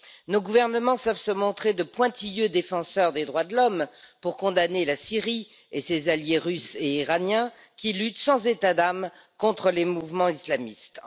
Nos gouvernements savent se montrer de pointilleux défenseurs des droits de l'homme pour condamner la Syrie et ses alliés russe et iranien qui luttent sans états d'âme contre les mouvements islamistes.